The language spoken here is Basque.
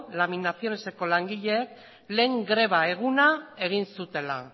laminacioneseko langileek lehen greba eguna egin zutela